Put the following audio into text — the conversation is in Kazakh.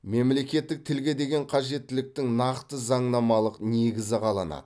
мемлекеттік тілге деген қажеттіліктің нақты заңнамалық негізі қаланады